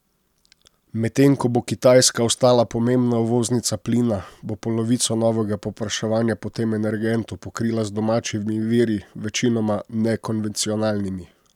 Medtem ko bo Kitajska ostala pomembna uvoznica plina, bo polovico novega povpraševanja po tem energentu pokrila z domačimi viri, večinoma nekonvencionalnimi.